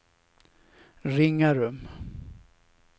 Ringarum